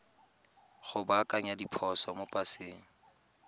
go baakanya diphoso mo paseng